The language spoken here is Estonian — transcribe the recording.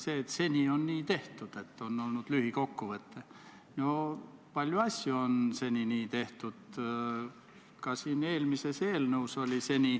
See võib tekkida enne viit aastat, sest ei saa ju öelda, et kui viis aastat kukub, siis eelmisel päeval ei olnud ja homme on.